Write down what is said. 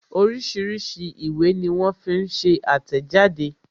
Oríṣiríṣi ìwé ní wón fi ń ṣe àtẹ̀jáde